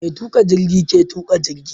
Mai tuƙa jirgi ke tuƙa jigi.